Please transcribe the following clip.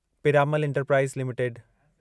Piramal Enterprises limited